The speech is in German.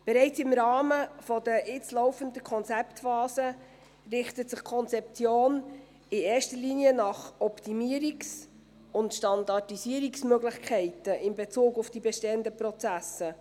Bereits im Rahmen der jetzt laufenden Konzeptphase richtet sich die Konzeption in erster Linie nach Optimierungs- und Standardisierungsmöglichkeiten in Bezug auf die bestehenden Prozesse.